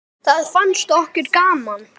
Það fannst okkur gaman.